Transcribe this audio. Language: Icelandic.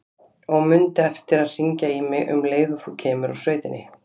Og mundu eftir að hringja í mig um leið og þú kemur úr sveitinni.